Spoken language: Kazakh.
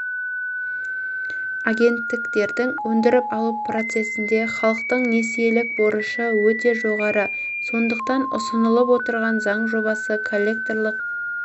агенттіктердің өндіріп алу процесінде халықтың несиелік борышы өте жоғары сондықтан ұсынылып отырған заң жобасы коллекторлық